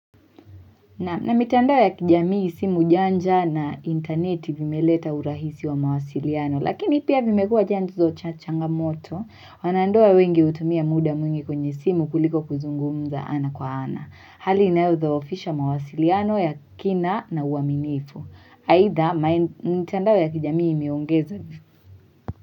Na mitandao ya kijamii simu janja na interneti vimeleta urahisi wa mawasiliano, lakini pia vimekuwa janzo cha changamoto, wanandoa wengi hutumia muda mwingi kwenye simu kuliko kuzungumza ana kwa ana. Hali inayodhoofisha mawasiliano ya kina na uaminifu. Aidha, mtandao ya kijamii imeongeza vifu.